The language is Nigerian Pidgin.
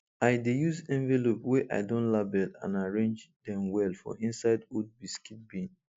i dey use envelope wey i don label and arrange dem well for inside old biscuit tin